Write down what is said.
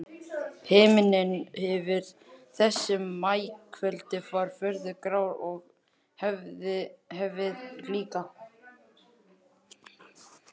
Himinninn yfir þessu maíkvöldi var furðu grár og hafið líka.